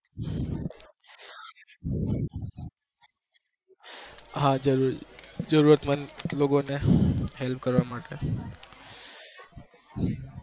જરૂર મદ લોકો ને help કરવા માટે